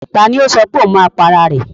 Ta ni ó sọ pé ohun máa pa ara rẹ̀?